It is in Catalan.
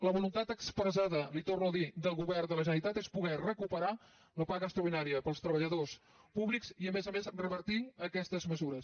la voluntat expressada li ho torno a dir del govern de la generalitat és poder recuperar la paga extraordinària per als treballadors públics i a més a més revertir aquestes mesures